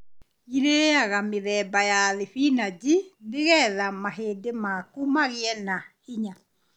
Iriaga mĩmera ta thibinaji nĩgetha mahĩndĩ maku magĩe na hinya.